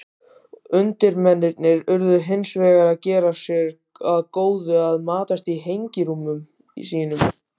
Undirmennirnir urðu hins vegar að gera sér að góðu að matast í hengirúmum sínum.